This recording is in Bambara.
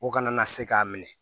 O kana na se k'a minɛ